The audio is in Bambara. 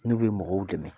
N'u bɛ mɔgɔw dɛmɛ